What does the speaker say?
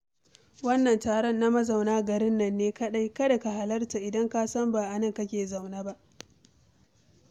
Wannan taro na mazauna garin nan ne kaɗai, kada ka halarta idan ka san ba a nan kake zaune ba